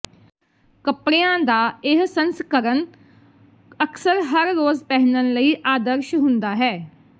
ਕੱਪੜਿਆਂ ਦਾ ਇਹ ਸੰਸਕਰਣ ਅਕਸਰ ਹਰ ਰੋਜ਼ ਪਹਿਨਣ ਲਈ ਆਦਰਸ਼ ਹੁੰਦਾ ਹੈ